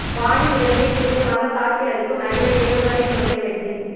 வானில் இலக்கை துல்லியமாக தாக்கி அழிக்கும் நவீன ஏவுகணை சோதனை வெற்றி